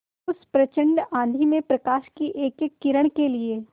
उस प्रचंड आँधी में प्रकाश की एकएक किरण के लिए